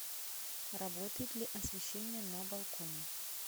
работает ли освещение на балконе